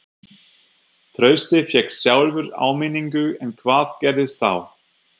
Trausti fékk sjálfur áminningu en hvað gerðist þá?